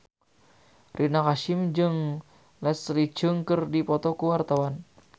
Rina Hasyim jeung Leslie Cheung keur dipoto ku wartawan